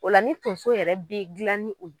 O la ni Tonso yɛrɛ be gilan ni o ye